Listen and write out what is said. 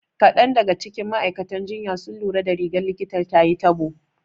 Kaɗan daga cikin ma'aikatan jinya sun lura da rigar likitan tayi tabo.